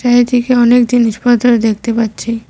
দিকে অনেক জিনিস দেখতে পাচ্ছি।